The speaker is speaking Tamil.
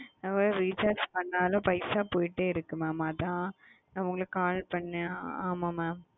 recharge பண்ணாத பைசா போயிட்டு இருக்கு mam அத ந உங்களுக்கு cll பண்ண